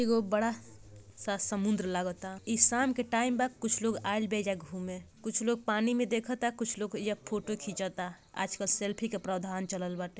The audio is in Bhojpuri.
एगो बड़ा सा समुंद्र लागता ई शाम के टाइम बा कुछ लोग आईल बा एजा घूमे कुछ लोग पानी में देखता कुछ लोग एइजा फोटो खिंचता आजकल सेल्फी के प्रावधान चलल बाटे।